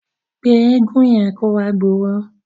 Pé eégun yẹn kó wá gbowó.